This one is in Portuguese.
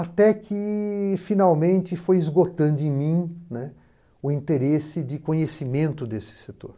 Até que, finalmente, foi esgotando em mim, né, o interesse de conhecimento desse setor.